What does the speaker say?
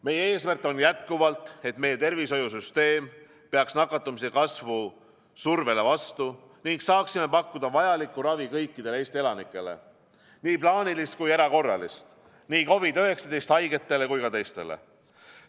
Meie eesmärk on jätkuvalt, et meie tervishoiusüsteem peaks nakatumise kasvu survele vastu ning saaksime pakkuda vajalikku ravi kõikidele Eesti elanikele – nii plaanilist kui erakorralist, nii COVID-19 haigetele kui ka teistele.